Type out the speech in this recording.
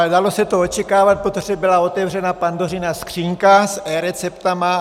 Ale dalo se to očekávat, protože byla otevřena Pandořina skříňka s eRecepty.